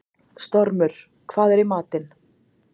Stormur, hvað er í matinn?